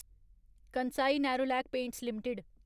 Kansai Nerolac paints limited